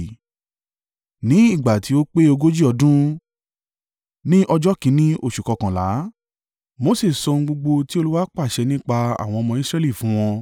Ní ìgbà tí ó pé ogójì ọdún, ní ọjọ́ kìn-ín-ní oṣù kọ́kànlá, Mose sọ ohun gbogbo tí Olúwa pàṣẹ nípa àwọn ọmọ Israẹli fún wọn.